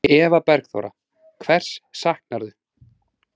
Eva Bergþóra: Hvers saknarðu?